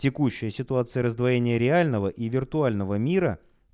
текущая ситуация раздвоение реального и виртуального мира